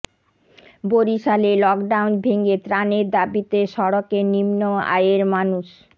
বরিশালে লকডাউন ভেঙে ত্রাণের দাবিতে সড়কে নিম্ন আয়ের মানুষ